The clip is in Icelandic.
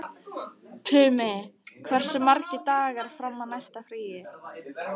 Tumi, hversu margir dagar fram að næsta fríi?